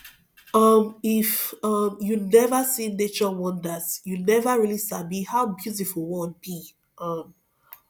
um if um you never see nature wonders you never really sabi how beautiful world be um